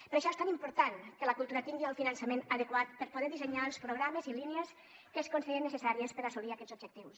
per això és tan important que la cultura tingui el finançament adequat per poder dissenyar els programes i línies que es considerin necessaris per assolir aquests objectius